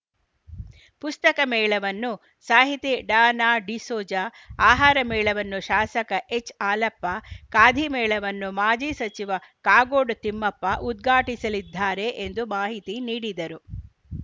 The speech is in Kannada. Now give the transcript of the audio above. ಪುಸ್ತಕ ಮೇಳವನ್ನು ಸಾಹಿತಿ ಡಾನಾಡಿಸೋಜ ಆಹಾರ ಮೇಳವನ್ನು ಶಾಸಕ ಎಚ್‌ಹಾಲಪ್ಪ ಖಾದಿಮೇಳವನ್ನು ಮಾಜಿ ಸಚಿವ ಕಾಗೋಡು ತಿಮ್ಮಪ್ಪ ಉದ್ಘಾಟಿಸಲಿದ್ದಾರೆ ಎಂದು ಮಾಹಿತಿ ನೀಡಿದರು